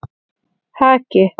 Haki